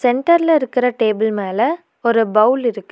சென்டர்ல இருக்கிற டேபிள் மேல ஒரு பௌவுள் இருக்கு.